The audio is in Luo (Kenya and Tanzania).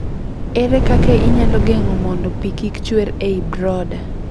Ere kaka inyalo geng'o mondo pi kik chuer e i brooder?